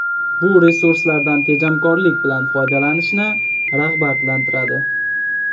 Bu resurslardan tejamkorlik bilan foydalanishni rag‘batlantiradi.